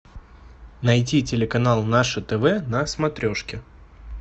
найти телеканал наше тв на смотрешке